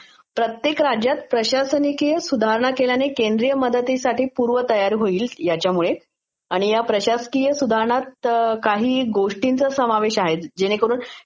प्रत्येक राज्यात प्रशासकीय सुधारणा केल्याने केंद्र मदतीसाठी पुर्व तयार होईल, याच्यामुळे. आणि या प्रशासकिय सुधांरणांमध्ये काही गोष्टाींचा समावेश आहे ज्याच्यामुळे